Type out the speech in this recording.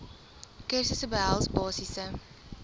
kursusse behels basiese